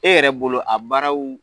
E yɛrɛ bolo a baaraw